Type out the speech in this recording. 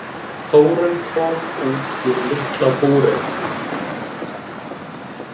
Þórunn kom út úr litla búrinu.